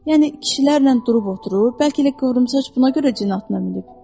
Yəni kişilərlə durub oturub, bəlkə də qıvrım saç buna görə cin atına minib.